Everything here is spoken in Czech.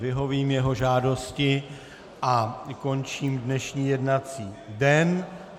Vyhovím jeho žádosti a končím dnešní jednací den.